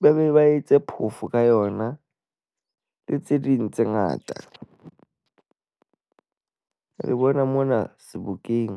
ba be ba etse phoofo ka yona le tse ding tse ngata. Le bona mona Sebokeng.